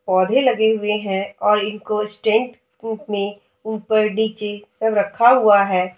पौधे लगे हुए हैं और इनको स्टैन्ड प्रूफ में ऊपर नीचे सब रक्खा हुआ है।